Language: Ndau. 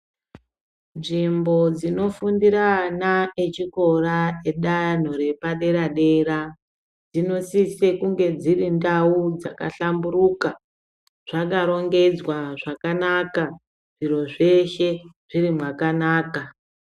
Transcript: Nzvimbo dzinofundira ana echikora danho repaderadera dzinosise kunge dziri ndau dzakahlamburuka dzakarongedzwa zvakanaka zviro zveshe zviri mwakanaka.